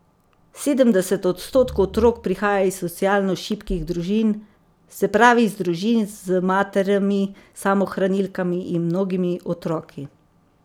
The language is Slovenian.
Sedemdeset odstotkov otrok prihaja iz socialno šibkih družin, se pravi iz družin z materami samohranilkami in mnogo otroki.